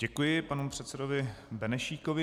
Děkuji panu předsedovi Benešíkovi.